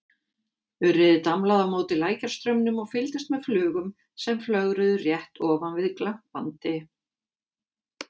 Urriði damlaði á móti lækjarstraumnum og fylgdist með flugum sem flögruðu rétt ofan við glampandi